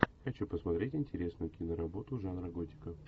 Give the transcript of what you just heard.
хочу посмотреть интересную киноработу жанра готика